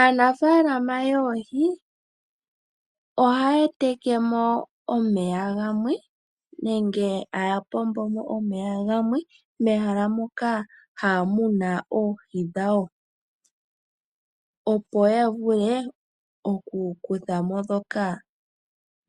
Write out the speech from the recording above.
Aanafaalama yoohi ohaya tekemo omeya gamwe nenge haya pombomo omeya gamwe mehala moka haya muna oohi dhawo, opo ya vule oku kuthamo ndhoka